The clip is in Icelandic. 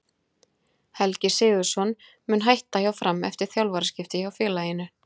Helgi Sigurðsson mun hætta hjá Fram eftir þjálfaraskipti hjá félaginu.